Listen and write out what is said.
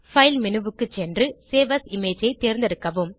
file menu க்கு சென்று save as image ஐ தேர்ந்தெடுக்கவும்